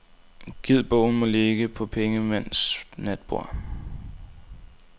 Gid bogen må ligge på pengemænds natborde.